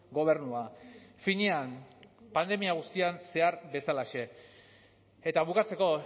gobernua finean pandemia guztian zehar bezalaxe eta bukatzeko